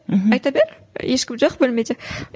мхм айта бер ешкім жоқ бөлмеде